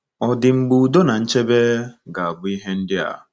Ọ̀ dị mgbe udo na nchebe ga-abụ ihe dị adị.